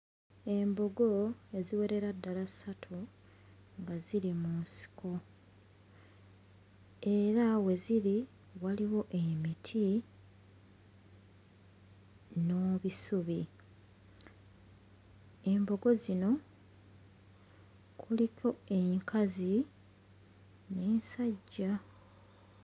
Embogo eziwerera ddala ssatu nga ziri mu nsiko, era we ziri waliwo emiti n'ebisubi. Embogo zino kuliko enkazi n'ensajja.